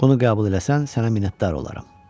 Bunu qəbul eləsən, sənə minnətdar olaram.